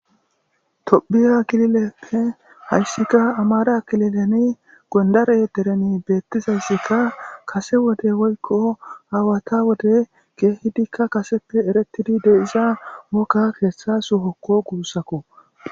tophiya kilileppe hayssikka amara kililene gondare derene beettizayssikka kase wode woykko aawata wode geehidikka kaseppe eretidi de'iza woga keehtha sohokko guussakko